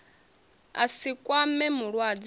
a si kwame mulwadze a